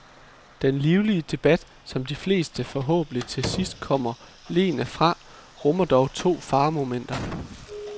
Den livlige debat, som de fleste forhåbentlig til sidst kommer leende fra, rummer dog to faremomenter.